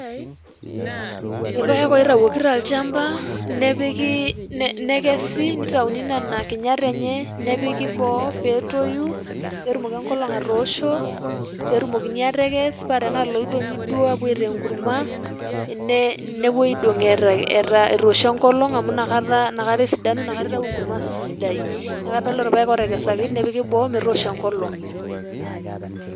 Ilpaek oitayuoki tolchamba nepiki, nekesi neitayuni nena kinyat enye nepiki boo peetoyu, peetumoki enkolong' atoosho peetumokini aatekes paa tenaa iloidong'i duo aapuo aitaa enkurma, nepuoi aidong' etoosho enkolong' amu inakata esidanu, inakata eitayu enkurma sidai. Neeku kadol ilpaek ootekesaki nepiki boo metoosho enkolong'.